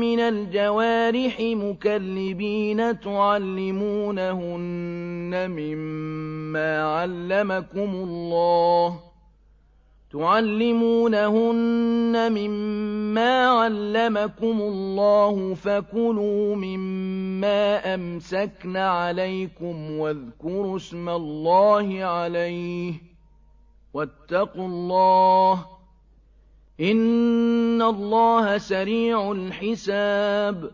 مِّنَ الْجَوَارِحِ مُكَلِّبِينَ تُعَلِّمُونَهُنَّ مِمَّا عَلَّمَكُمُ اللَّهُ ۖ فَكُلُوا مِمَّا أَمْسَكْنَ عَلَيْكُمْ وَاذْكُرُوا اسْمَ اللَّهِ عَلَيْهِ ۖ وَاتَّقُوا اللَّهَ ۚ إِنَّ اللَّهَ سَرِيعُ الْحِسَابِ